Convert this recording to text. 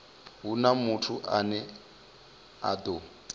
huna muthu ane a ḓo